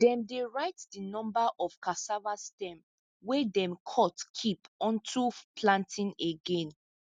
dem dey write di numba of cassava stem wey dem cut keep unto planting again